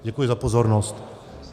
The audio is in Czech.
Děkuji za pozornost.